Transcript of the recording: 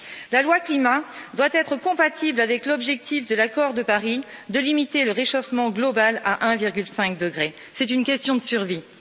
La loi climat doit être compatible avec l'objectif de l'accord de Paris de limiter le réchauffement global à 1,5 degrés, c'est une question de survie.